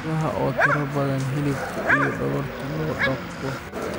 Idaha oo tiro badan oo hilibka iyo dhogorta loo dhaqdo.